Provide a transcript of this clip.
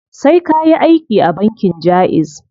Sai kayi aiki a bankin jaiz.